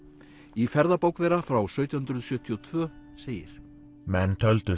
í ferðabók þeirra frá sautján hundruð sjötíu og tvö segir menn töldu